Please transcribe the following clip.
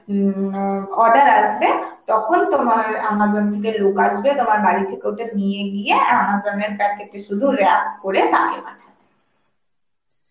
উম অ্যাঁ order আসবে, তখন তোমার Amazon থেকে লোক আসবে তোমার বাড়ি থেকে ওটা নিয়ে গিয়ে Amazon এর packet এ শুধু wrap করে তাকে পাঠাবে